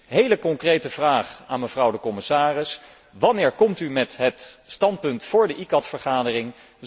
Dus een hele concrete vraag aan de commissaris wanneer komt u met het standpunt voor de ICCAT vergadering?